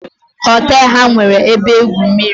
Hotel a nwere ebe igwu mmiri